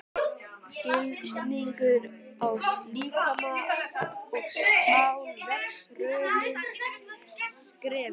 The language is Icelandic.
Skilningur á líkama og sál vex hröðum skrefum.